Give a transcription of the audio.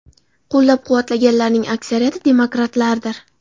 Qo‘llab-quvvatlaganlarning aksariyati demokratlardir.